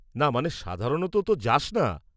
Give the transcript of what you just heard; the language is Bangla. -না, মানে, সাধারণত তো যাস না।